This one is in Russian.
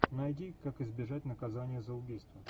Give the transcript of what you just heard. найди как избежать наказания за убийство